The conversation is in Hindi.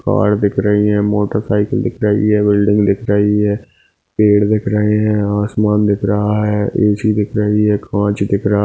कार दिख रही है मोटर साइकिल दिख रही है बिल्डिंग दिख रही है पेड़ दिख रहे है और आसमान दिख रहा है ऊँची दिख रही है काँच दिख रहा--